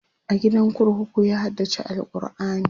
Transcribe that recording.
a gidan kurkuku ya haddace alQurani